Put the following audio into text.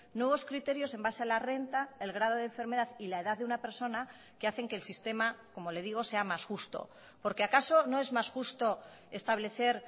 nuevos criterios en base a la renta el grado de enfermedad y la edad de una persona que hacen que el sistema como le digo sea más justo porque acaso no es más justo establecer